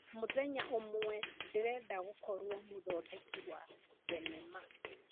Mũthenya ũmwe, ndĩrenda gũkorwo mũthondeki wa thenema.